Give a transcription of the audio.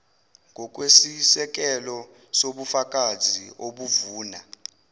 ngokwesisekelo sobufakazi obuvuna